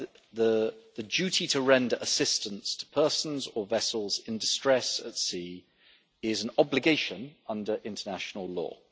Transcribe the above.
the duty to render assistance to persons or vessels in distress at sea is an obligation under international law.